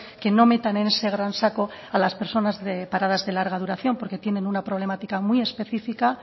que no metan en ese gran saco a las personas paradas de larga duración porque tienen una problemática muy específica